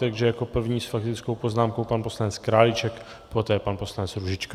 Takže jako první s faktickou poznámkou pan poslanec Králíček, poté pan poslanec Růžička.